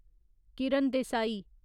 Kiran Desai